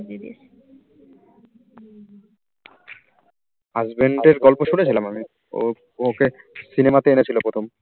husband র গল্প শুনেছিলাম আমি। ও ওকে cinema তে এনেছিল প্রথম